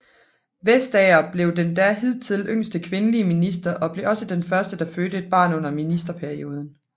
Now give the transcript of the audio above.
Vestager blev den da hidtil yngste kvindelige minister og blev også den første der fødte et barn under ministerperioden